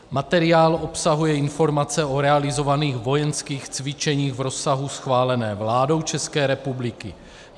Materiál obsahuje informace o realizovaných vojenských cvičeních v rozsahu schváleném vládou České republiky.